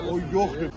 Yoxdur.